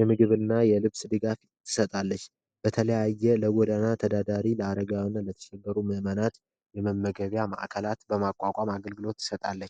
የምግብና የልብስ ድጋፍ ትሰጣለች ለተለያየ ለጎዳና ተዳዳሪ ለአረጋውያን ምእመናት የመመገበያ ማዕከላት በማቋቋም አገልግሎት ትሰጣለች።